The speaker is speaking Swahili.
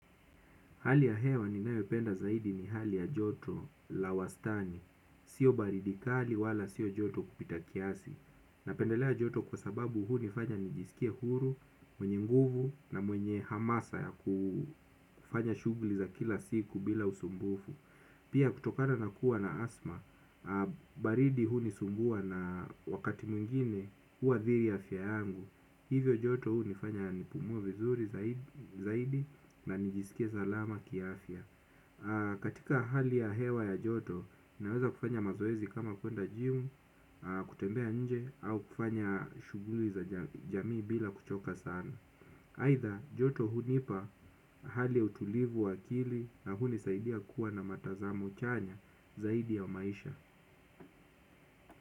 Hali ya hewa ninayopenda zaidi ni hali ya joto la wastani. Sio baridi kali wala sio joto kupita kiasi. Napendelea joto kwa sababu hunifanya nijisikie huru, mwenye nguvu na mwenye hamasa ya kufanya shughuli za kila siku bila usumbufu. Pia kutokana na kuwa na asma, baridi hunisumbua na wakati mwingine huathiri afya yangu. Hivyo joto hunifanya nipumue vizuri zaidi na nijisikie salama kiafya. Katika hali ya hewa ya joto, naweza kufanya mazoezi kama kuenda jimu, kutembea nje, au kufanya shughuli za jamii bila kuchoka sana aidha joto hunipa hali ya utulivu wa akili na hunisaidia kuwa na matazamo chanya zaidi ya maisha.